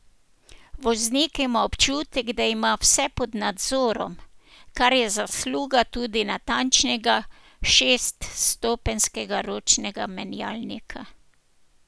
Voznik ima občutek, da ima vse pod nadzorom, kar je zasluga tudi natančnega šeststopenjskega ročnega menjalnika.